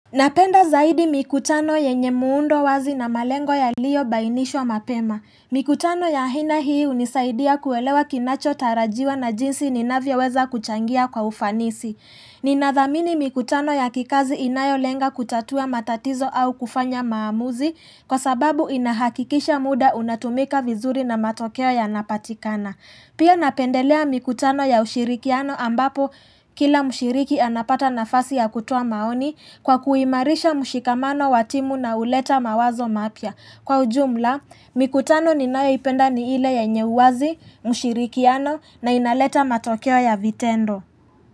Napenda zaidi mikutano yenye muundo wazi na malengo yaliyobainishwa mapema. Mikutano ya aina hii hunisaidia kuelewa kinachotarajiwa na jinsi ninavyoweza kuchangia kwa ufanisi. Ninathamini mikutano ya kikazi inayolenga kutatua matatizo au kufanya maamuzi kwa sababu inahakikisha muda unatumika vizuri na matokeo yanapatikana. Pia napendelea mikutano ya ushirikiano ambapo kila mshiriki anapata nafasi ya kutoa maoni kwa kuimarisha mshikamano wa timu na huleta mawazo mapya. Kwa ujumla, mikutano ninayoipenda ni ile yenye uwazi, mshirikiano na inaleta matokeo ya vitendo.